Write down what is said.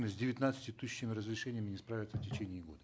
с девятнадцатью тысячами разрешений не справится в течение года